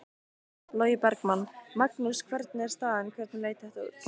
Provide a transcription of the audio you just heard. Logi Bergmann: Magnús hvernig er staðan, hvernig leit þetta út?